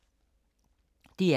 DR K